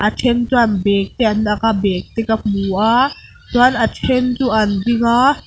then chuan bag te an ak a bag te ka hmu a chuan a then chu an ding a.